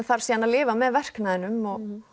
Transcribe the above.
þarf síðan að lifa með verknaðinum